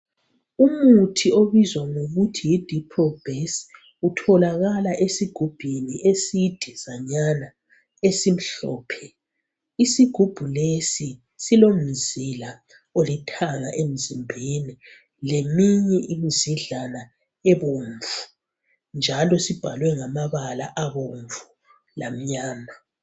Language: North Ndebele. Umuthi obizwa ngokuthi yidiprobhesi. Utholakala esigubhini esidezanyana, esimhlophe. Isigubhu lesi silomzila olithanga emzimbeni leminye imizidlana ebomvu, njalo sibhalwe ngamabala abomvu lamnyama.